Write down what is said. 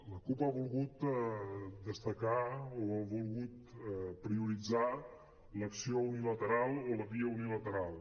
la cup ha volgut destacar o ha volgut prioritzar l’acció unilateral o la via unilateral